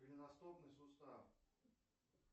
голеностопный сустав